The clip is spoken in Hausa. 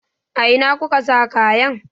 A ina kuka sa kayan?